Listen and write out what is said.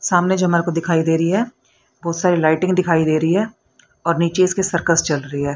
सामने जो मेरे को दिखाई दे रही है बहुत सारी लाइटिंग दिखाई दे रही है और नीचे इसके सर्कस चल रही है।